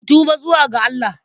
Ku tuba zuwa ga Allah!